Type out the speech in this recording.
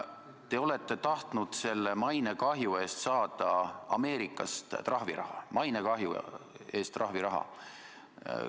Te olete tahtnud selle mainekahju eest saada Ameerikast trahviraha.